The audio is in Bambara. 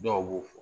Dɔw b'o fɔ